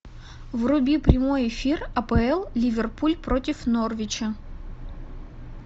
вруби прямой эфир апл ливерпуль против норвича